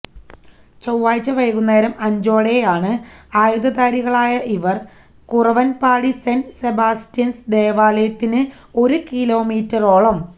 ചൊവ്വാഴ്ച വൈകുന്നേരം അഞ്ചോടെയാണ് ആയുധധാരികളായ ഇവര് കുറവന്പാടി സെന്റ് സെബാസ്റ്റ്യന്സ് ദേവാലയത്തിന് ഒരു കിലോമീറ്ററോളം